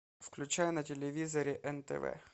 включай на телевизоре нтв